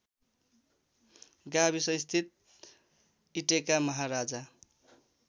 गाविसस्थित इटेका महाराजा